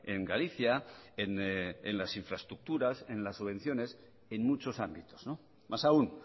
en galicia en las infraestructuras en las subvenciones en muchos ámbitos más aún